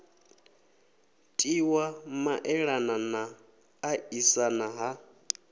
tiwa maelana na ṱaṱisana ha